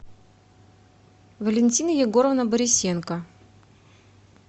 валентина егоровна борисенко